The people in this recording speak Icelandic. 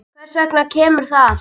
Hvers vegna kemur það?